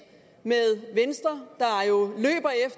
med venstre